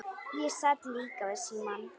Ég sat líka við símann.